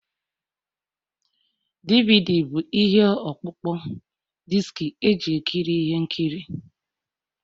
DVD bụ ihe ọkpụkpọ diski eji ekiri ihe nkiri